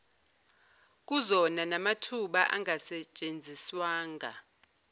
kuzona namathuba angasetshenziswanga